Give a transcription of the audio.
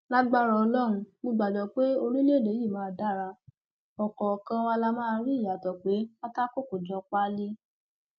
lágbára ọlọrun mo gbàgbọ pé orílẹèdè yìí máa dara ọkọọkan wa la máa rí ìyàtọ pé pátákó kò jọ páálí